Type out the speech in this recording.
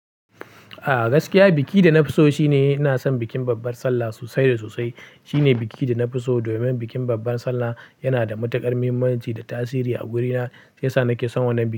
A gaskiya, biki da na fi so shine ina son bikin babbar Sallah sosai da sosai. Shine biki da na fi so domin bikin babbar Sallah yana da matuƙar muhimmanci da tasiri a wurina, sai sa nake son wannan biki.